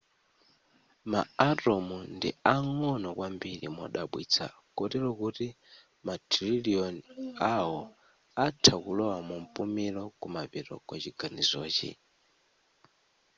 ma atom ndi ang'ono kwambiri modabwitsa kotero kuti mathirilioni awo atha kulowa mumpumuliro kumapeto kwa chiganizochi